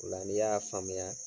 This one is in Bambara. Ola n'i y'a faamuya